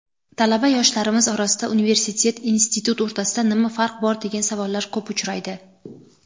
Talaba yoshlarimiz orasida "universitet" "institut" o‘rtasida nima farq bor degan savollar ko‘p uchraydi.